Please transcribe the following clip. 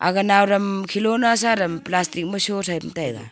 aga araam khelo na sa am palatik ma surao taiga.